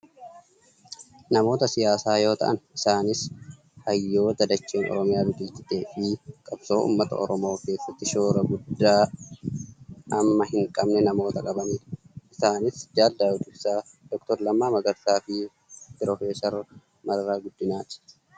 Namoota siyaasaa yoo ta'an , isaanis hayyoota dacheen Oromiyaa biqilchiteefi qabsoo uummata oromoo keessatti shoora guddaa hamma hin qabne nama qabanidha. Isaanis Jaal Daawud Ibsaa , Dr Lammaa Magarsa fi Professar Mararaa Guddinaati.